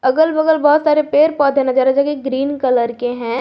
अगल बगल बहुत सारे पेड़ पौधे नजर जोकि ग्रीन कलर के हैं।